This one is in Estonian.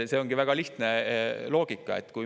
See ongi väga lihtne loogika.